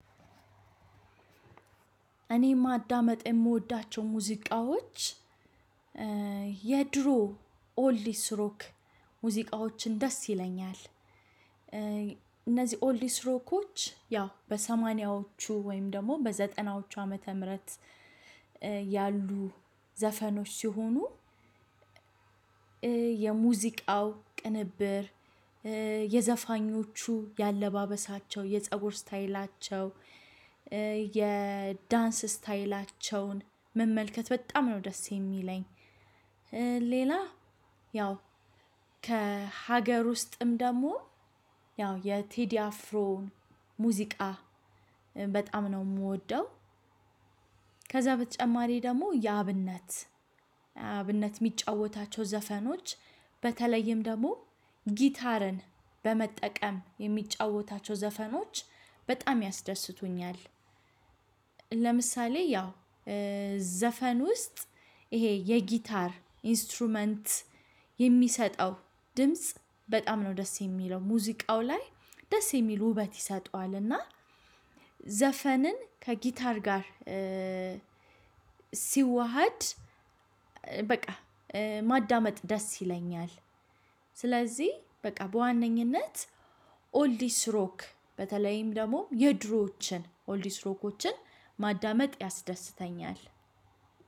እኔ የማዳመጥ የምወዳቸው ሙዚቃዎች የድሮ ኦልዲ ስሮክ ሙዚቃዎችን ደስ ይለኛል። እነዚህ ኦልድ ሰትሮኮች ያው በሰማኒያወቹ ወይም በዘጠናወቹ አመተምረት ያሉዐዘፈኖች ሲሆኑ። የሙዚቃው ቅንብር የዘፋኞቹ የአለባበሳቸው የፀጉር ስታይላቸው የዳንስ ስታይላቸውን መመልከት በጣም ነው ደስ የሚለኝ። ሌላ ያው ከሀገር ውስጥም ደግሞ ያው የቴዲ አፍሮን ሙዚቃ በጣም ነው የምወደው። ከዛ በተጨማሪ ደግሞ የአብነት አብነት የሚጫወታቸው ዘፈኖች በተለይም ደግሞ ጊታርን በመጠቀም የሚጫወታቸው ዘፈኖች በጣም ያስደስቱኛል። ለምሳሌ ያው ዘፈን ውስጥ ይሄ የጊታር ኢንስትሩመንት የሚሰጠው ድምጽ በጣም ነው ደስ የሚለው ሙዚቃው ላይ ደስ የሚል ውበት ይሰጠዋልና። ዘፈንን ከጊታር ጋር ሲዋሃድ በቃ ማዳመጥ ደስ ይለኛል። ስለዚህ በቃ በዋነኝነት ኦልዲ ስሮክ በተለይም ደግሞ የድሮዎችን ኦልዲ ስሮኮችን ማዳመጥ ያስደስተኛል።